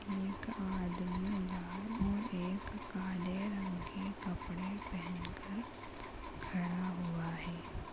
एक आदमी लाल और एक काले रंग के कपड़े पहन कर खड़ा हुआ है।